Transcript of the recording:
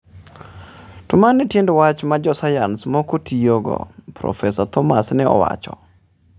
"To mano e tiend wach ma josayans moko tiyogo," Prof Thomas ne owacho.